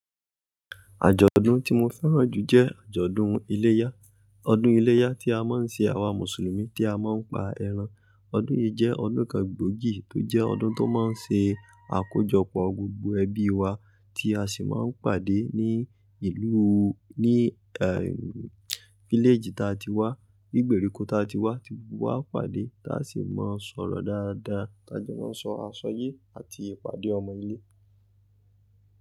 Àjọ̀dún tí mo fẹ́ràn jù jẹ́ àjọ̀dún iléyá. Ọdún iléyá tí a máa ń ṣe àwa Mùsùlùmí tí a máa ń pa ẹran. Ọdún yìí jẹ́ ọdún kan gbòógì tó jẹ́ ọdún tó máa ń ṣe àkójọpọ̀ gbogbo ẹbí wa tí a sì máa ń pàdé ní ìlú, ní eh, village tí a ti wá, ní ìgbèríko tí a ti wá, tí gbogbo wa á pàdé tí a sì máa ń sọ̀rọ̀ dáadáa, tí a jọ máa ń sọ àṣọyé àti ìpàdé ọmọ ilé.